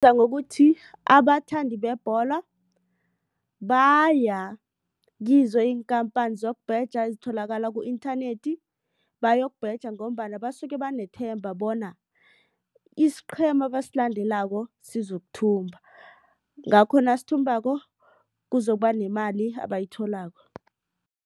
Ngokuthi abathandi bebhola baya kizo iinkhamphani zokubheja ezitholakala ku-inthanethi bayokubheja ngombana basuke banethemba bona isiqhema abasilandelako sizokuthumba ngakho nasithumbako kuzokuba nemali abayitholako.